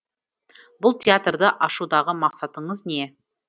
бұл театрды ашудағы мақсатыңыз не